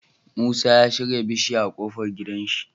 Musa ya shika bishiya a kofar gidan shi